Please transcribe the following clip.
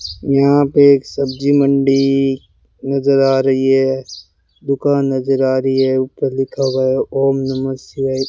यहां पे एक सब्जी मंडी नजर आ रही है दुकान नजर आ रही है ऊपर लिखा हुआ है ओम नमः शिवाय।